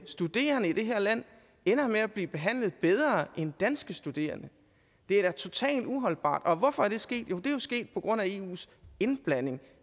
studerende i det her land ender med at blive behandlet bedre end danske studerende det er da totalt uholdbart og hvorfor er det sket jo det er jo sket på grund af eus indblanding